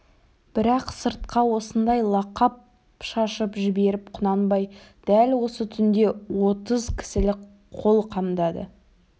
бірақ сыртқа осындай лақап шашып жіберіп құнанбай дәл осы түнде отыз кісілік қол қамдады